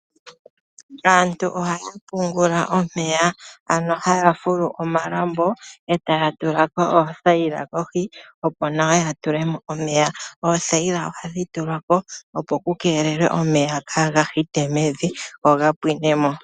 Aantu ohaya pungula omeya, ano haya fulu omalambo e ta ya tula ko oothayila kohi opo nawa ya tule mo omeya. Oothayila ohadhi tulwa ko, opo ku keelelwe omeya kaaga hite mevi, go ga pwine mo.